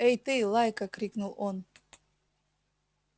эй ты лайка крикнул он